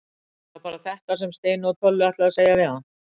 Var það bara þetta sem Steini og Tolli ætluðu að segja við hann?